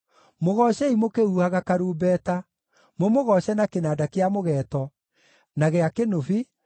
Mũgoocei mũkĩhuhaga karumbeta, mũmũgooce na kĩnanda kĩa mũgeeto, na gĩa kĩnũbi,